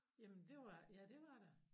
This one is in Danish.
Jamen det var ja det var der